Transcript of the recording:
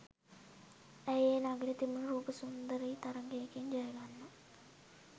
ඇය ඒ නගරෙ තිබුන රූප සුන්දරී තරගයකින් ජයගන්නවා.